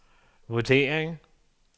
vurdering